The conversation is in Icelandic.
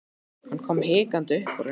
Hann kom hikandi upp úr henni.